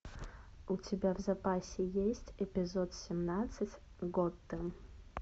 у тебя в запасе есть эпизод семнадцать готэм